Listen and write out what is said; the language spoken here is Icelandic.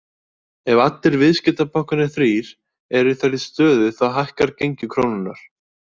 Ef allir viðskiptabankarnir þrír eru í þeirri stöðu þá hækkar gengi krónunnar.